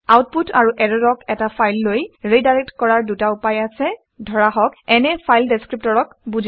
output আৰু ইৰৰক এটা ফাইললৈ ৰিডাইৰেক্ট কৰাৰ দুটা উপায় আছে ধৰক n এ ফাইল ডেচক্ৰিপটৰক বুজায়